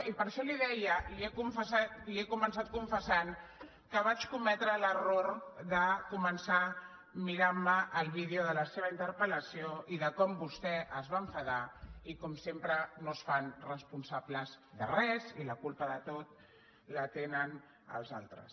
i per això li ho deia li he començat confessant que vaig cometre l’error de començar mirant me el vídeo de la seva interpellació i de com vostè es va enfadar i com sempre no es fan responsables de res i la culpa de tot la tenen els altres